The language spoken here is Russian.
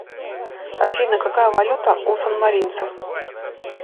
афина какая валюта у санмаринцев